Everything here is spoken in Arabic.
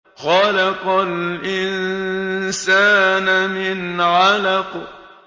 خَلَقَ الْإِنسَانَ مِنْ عَلَقٍ